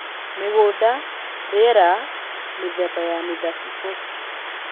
Mĩgũnda, rĩera, mĩthemba ya mĩthabibũ